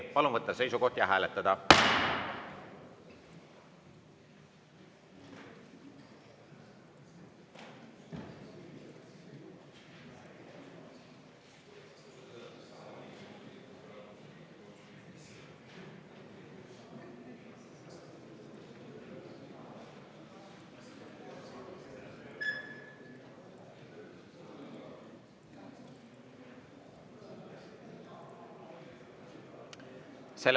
Palun võtta seisukoht ja hääletada!